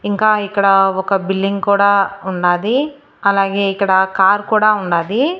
ఇంకా ఇక్కడ ఒక బిల్డింగ్ కూడా ఉన్నది అలాగే ఇక్కడ కారు కూడా ఉన్నది.